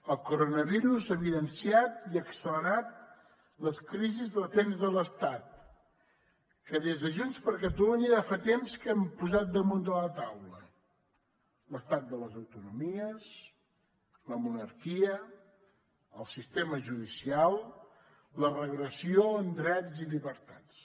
el coronavirus ha evidenciat i ha accelerat les crisis latents de l’estat que des de junts per catalunya ja fa temps que hem posat damunt de la taula l’estat de les autonomies la monarquia el sistema judicial la regressió en drets i llibertats